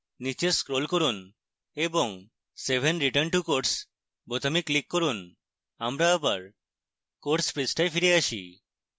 নীচে scroll করুন এবং save and return to course বোতামে click করুন